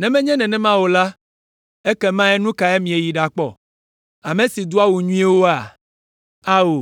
Ne menye nenema o la, ekema nu kae mieyi ɖakpɔ? Ame si do awu nyuiwoea? Ao,